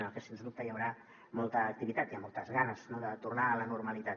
i en la que sens dubte hi haurà molta activitat i amb moltes ganes de tornar a la normalitat